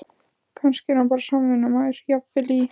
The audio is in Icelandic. Kannski er hann bara samvinnumaður, jafnvel í